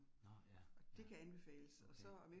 Nåh ja, ja. Okay